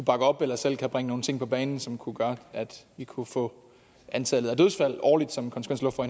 op eller selv kunne bringe nogle ting på banen som kunne gøre at vi kunne få antallet af dødsfald årligt som